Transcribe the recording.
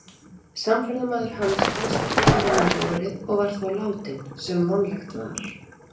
Samferðamaður hans fannst ekki fyrr en um vorið og var þá látinn, sem vonlegt var.